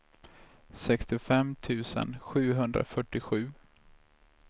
sextiofem tusen sjuhundrafyrtiosju